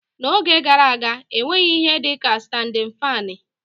N'oge gara aga, e nweghị ihe dị ka standịn faanị